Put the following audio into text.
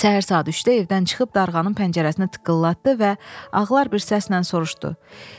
Səhər saat 3-də evdən çıxıb darğanın pəncərəsini tıqqıllatdı və ağlar bir səslə soruşdu: